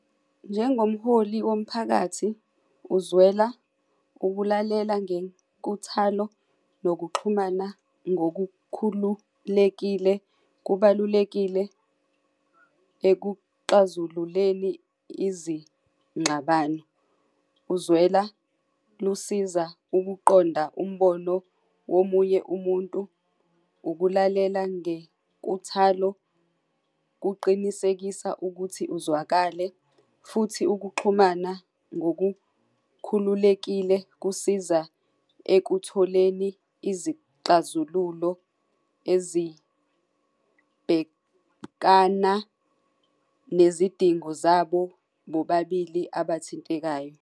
Njengomholi womphakathi, uzwela ukulalela ngenkuthalo nokuxhumana ngokukhululekile kubalulekile ekuxazululeni izingxabano. Kuzwela lusiza ukuqonda umbono womunye umuntu, ukulalela ngenkuthalo kuqinisekisa ukuthi uzwakale futhi ukuxhumana ngokukhululekile kusiza ekutholeni izixazululo ezibhekana nezidingo zabo bobabili abathintekayo.